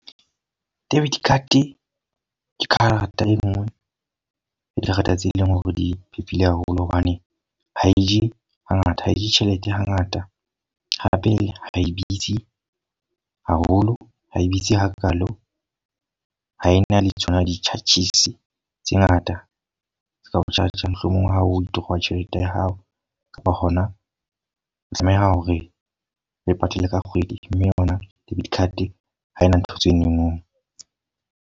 Debit card ke karata e nngwe ho karata tse eleng hore di phephile haholo. Hobane ha eje ha ngata, ha eje tjhelete ha ngata. Hape hae bitsi haholo, ha e bitsi ha ka lo. Ha e na le tsona di-charges tse ngata, tsao charger mohlomong ha o withdraw tjhelete ya hao. Wa kgona hore o e patale ka kgwedi. Mme rona debit card ha e na ntho tse no no.